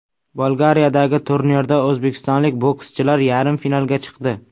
Bolgariyadagi turnirda o‘zbekistonlik bokschilar yarim finalga chiqdi.